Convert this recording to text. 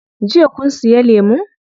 Jiya kun siya lemun?